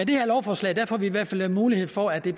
det her lovforslag får vi i hvert fald en mulighed for at det